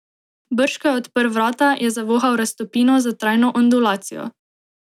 Brž ko je odprl vrata, je zavohal raztopino za trajno ondulacijo.